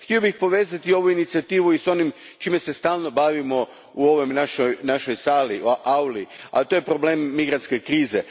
Htio bih povezati ovu inicijativu i s onim čime se stalno bavimo u ovoj našoj auli, a to je problem migrantske krize.